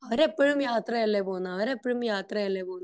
അവർ ഇപ്പോഴും യാത്ര അല്ലെ പോകുന്നത് അവർ ഇപ്പോഴും യാത്ര അല്ലെ പോവുന്നത്